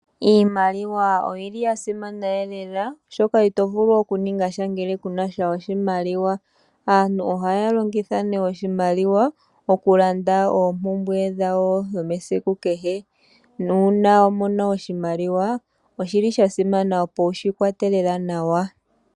Iimaliwa oyili ya simana lela, oshoka itovulu oku ningasha ngele kunasha oshimaliwa. Aantu ohaya longitha oshimaliwa oku landa oompumbwe dhawo dhesiku kehe, nuuna wamono oshimaliwa, oshili sha simana opo wushi kwate lela nawa.